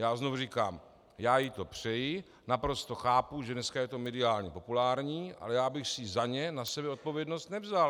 Já znovu říkám, já jí to přeji, naprosto chápu, že dneska je to mediálně populární, ale já bych si za ně na sebe odpovědnost nevzal.